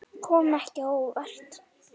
Kom ekki á óvart.